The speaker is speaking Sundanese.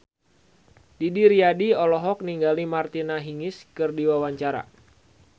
Didi Riyadi olohok ningali Martina Hingis keur diwawancara